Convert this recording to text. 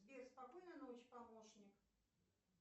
сбер спокойной ночи помощник